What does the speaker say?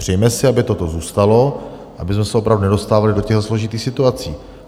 Přejme si, aby toto zůstalo, abychom se opravdu nedostávali do těch složitých situací.